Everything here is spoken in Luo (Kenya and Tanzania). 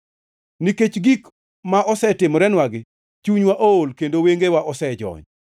Nikech gik ma osetimorenwagi, chunywa ool kendo wengewa osejony,